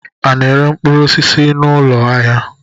A na-ere mkpụrụosisi n'ọnụụlọ ahịa?